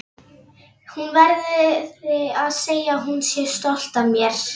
Hún verði að segja að hún sé stolt af mér.